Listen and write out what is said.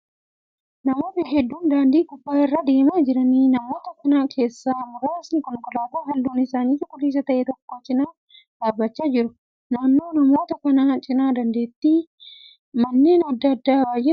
Namoota hedduu daandii gubbaa irra deemaa jiraniidha. Namoota kana keessaa muraasni konkolaataa halluun isaa cuquliisa ta'e tokko cina dhaabbachaa jiru. Naannoo namoota kanaa cina daandiitti manneen adda addaa baay'eetu argama.